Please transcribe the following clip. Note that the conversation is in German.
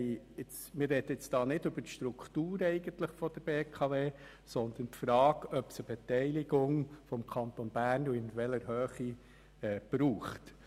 Doch nun sprechen wir nicht über die Struktur der BKW, sondern darüber, ob es eine Beteiligung des Kantons Bern braucht und in welcher Höhe diese sein soll.